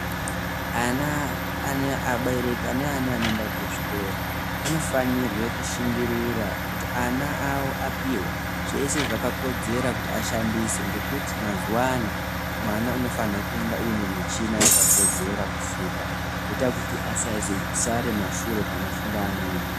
Aberwki ane ana anoenda kuzvikora anofanurwa kushingurira kuti ana awo apihwe zveshe zvakakodzera kuti ashandise ngekuti mazuva ano mwana anofana kuenda ane muchina yakakodzera kufunda inoita asazosara kumashure panofunda umweni.